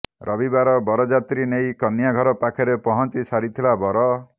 ରବିବାର ବରଯାତ୍ରୀ ନେଇ କନ୍ୟା ଘର ପାଖରେ ପହଞ୍ଚି ସାରିଥିଲା ବର